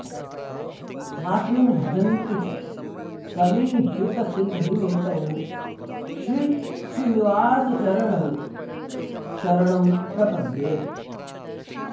स्थास्नुं भजन्ति च समीहितसिद्धिमेतौ श्रीश्रीनिवास चरणौ शरणं प्रपद्ये